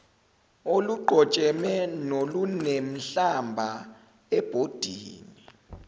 oluqojeme nolunenhlamba ebhodini